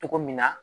Cogo min na